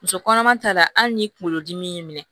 Muso kɔnɔma ta la hali ni kunkolodimi y'i minɛ